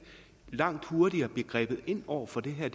langt hurtigere bliver grebet ind over for det her